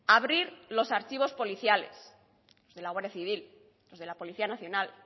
abrir los archivos policiales de la guardia civil los de la policía nacional